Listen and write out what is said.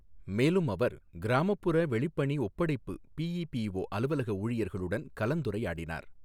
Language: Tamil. மேலும் அவர், கிராமப்புற வெளிப்பணி ஒப்படைப்பு பிஇபிஒ அலுவலக ஊழியர்களுடன் கலந்துரையாடினார்.